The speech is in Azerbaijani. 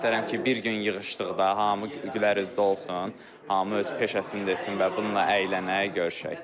İstərəm ki, bir gün yığışdıqda hamı gülər üzlü olsun, hamı öz peşəsini desin və bununla əylənək, görüşək.